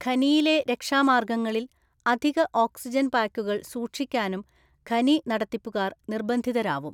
ഖനിയിലെ രക്ഷാമാര്‍ഗ്ഗങ്ങളില്‍ അധിക ഓക്‌സിജൻ പായ്ക്കുകൾ സൂക്ഷിക്കാനും ഖനിനടത്തിപ്പുകാര്‍ നിര്‍ബന്ധിതരാവും.